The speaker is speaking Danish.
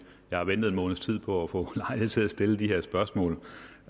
har ventet en måneds tid på at få lejlighed til at stille de her spørgsmål